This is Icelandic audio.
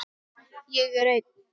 Ég er einn.